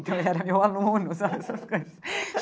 Então, ele era meu aluno, sabe essas coisas?